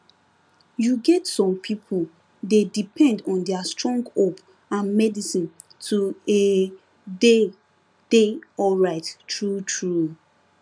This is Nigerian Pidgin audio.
you get some people dey depend on their strong hope and medicine to ehh dey dey alright truetrue